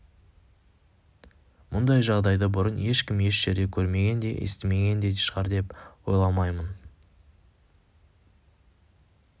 мұндай жағдайды бұрын ешкім еш жерде көрмеген де естімеген де шығар деп ойламаймын